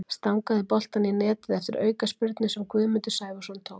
Stangaði boltann í netið eftir aukaspyrnu sem Guðmundur Sævarsson tók.